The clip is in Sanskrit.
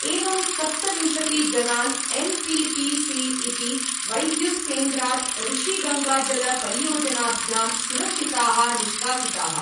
एवं सप्तविंशतिजनान् एन् टि पि सि इति वैद्युतकेंद्रात् ऋषिगङ्गाजलपरियोजनाभ्यां सुरक्षिताः निष्कासिताः।